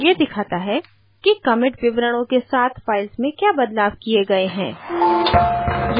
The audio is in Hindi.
यह दिखाता है कि commit विवरणों के साथ files में क्या बदलाव किये गए हैं